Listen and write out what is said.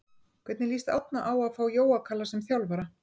Hvernig lýst Árna á að fá Jóa Kalla sem þjálfara?